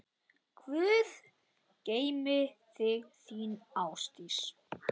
Guð geymi þig, þín, Ásdís.